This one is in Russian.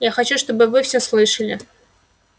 я хочу чтобы вы все слышали